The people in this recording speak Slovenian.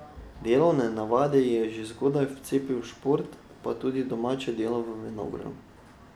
Delovne navade ji je že zgodaj vcepil šport, pa tudi domače delo v vinogradu.